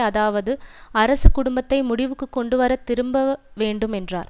அதாவது அரசு குடும்பத்தை முடிவுக்கு கொண்டுவர திரும்ப வேண்டும் என்றார்